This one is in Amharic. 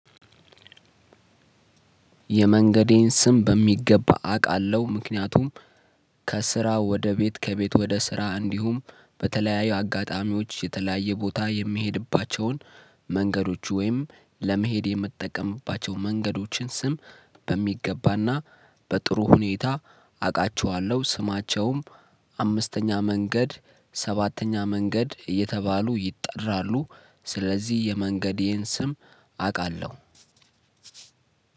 የመንገዴን ስም በሚገባ አውቃለሁ ምክንያቱም ከስራ ወደ ቤት ከቤት ወደ ስራ እንዲሁም በተለያዩ አጋጣሚዎች የተለያየ ቦታ ምሄድባቸው መንገዶች ወይም ለመሄድ የምጠቀምባቸው መንገዶችን ስም በሚገባና በጥሩ ሁኔታ አውቃቸዋለሁ። ስማቸውም አምስተኛ መንገድ ሰባተኛ መንገድ እየተባሉ ይጠራሉ ስለዚህ የመንገዴን ስም አቃለሁ።